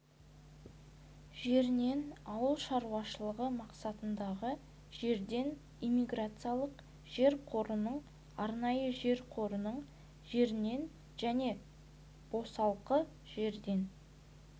жерінен ауыл шаруашылығы мақсатындағы жерден иммиграциялық жер қорының арнайы жер қорының жерінен және босалқы жерден